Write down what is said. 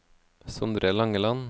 Sondre Langeland